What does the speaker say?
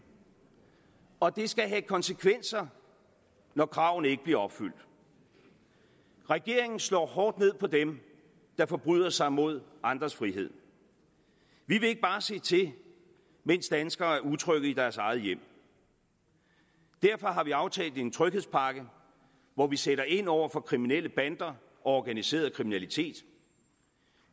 og det skal have konsekvenser når kravene ikke bliver opfyldt regeringen slår hårdt ned på dem der forbryder sig mod andres frihed vi vil ikke bare se til mens danskere er utrygge i deres egne hjem derfor har vi aftalt en tryghedspakke hvor vi sætter ind over for kriminelle bander og organiseret kriminalitet